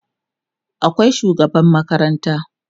akwai shugaban makaranta